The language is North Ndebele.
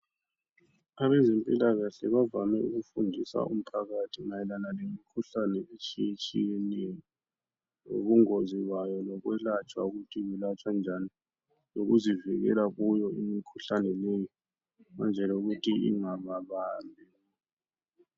Abezempilakahle bavame ukufundisa umphakathi mayelana lemikhuhlane etshiyetshiyeneyo lobungozi bayo lokwelatshwa ukuthi yelatshwa njani lokuzivikela kuyo imikhuhlane leyi ukwenzela ukuthi ingababambi .